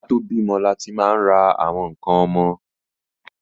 Ká tó bímọ láti máa ń ra àwọn ǹkan ọmọ